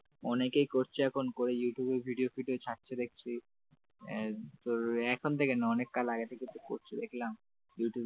অনেকেই করছে এখন করে ইউটিউবে ভিডিও video ছাড়ছে দেখছি এ তোর এখন থেকে না অনেক কল আগে থেকে তো করছি দেখলাম ইউটিউবে ।